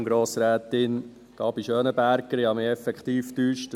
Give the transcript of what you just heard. Entschuldigen Sie, Grossrätin Gabi Schönenberger, ich habe mich effektiv getäuscht.